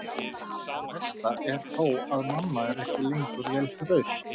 Það versta er þó að mamma er ekki lengur vel hraust.